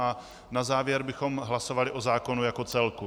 A na závěr bychom hlasovali o zákonu jako celku.